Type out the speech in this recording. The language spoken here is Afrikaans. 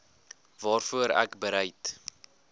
waarvoor ek bereid